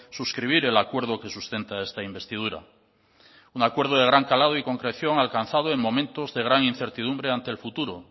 suscribir el acuerdo que sustenta esta investidura un acuerdo de gran calado y concreción alcanzado en momentos de gran incertidumbre ante el futuro